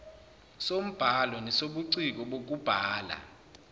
sombhalo nesobuciko bokubhala